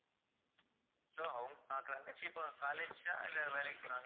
so அவங்~ அஹ் தங்கச்சி இப்போ college ஆ இல்லை வேலைக்கு போறாங்களா